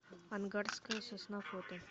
ангарская сосна фото